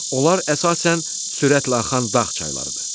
Onlar əsasən sürətlə axan dağ çaylarıdır.